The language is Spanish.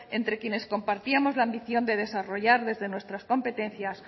entre quienes compartíamos la ambición de desarrollar desde nuestras competencias